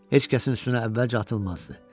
Heç kəsin üstünə əvvəlcə atılmazdı.